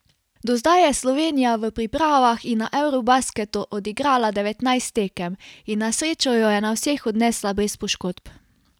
Do zdaj je Slovenija v pripravah in na eurobasketu odigrala devetnajst tekem in na srečo jo je na vseh odnesla brez poškodb.